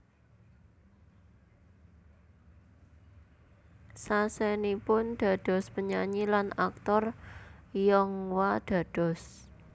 Sasenipun dados penyanyi lan aktor Yonghwa dados